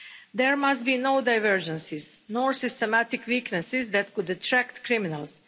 There must be no divergences nor systematic weaknesses that could attract criminals.